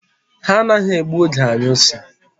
Ha anaghị egbu oge anyụ nsị.